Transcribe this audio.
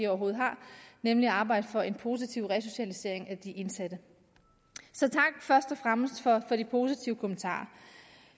overhovedet har nemlig at arbejde for en positiv resocialisering for de indsatte så først og fremmest for de positive kommentarer